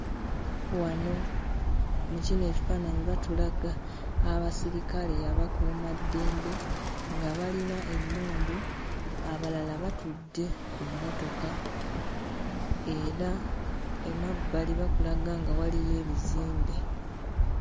Wano mu kino ekifaananyi batulaga abasirikale abakuumaddembe nga balina emmundu abalala batudde ku mmotoka era emabbali bakulaga nga waliyo ebizimbe.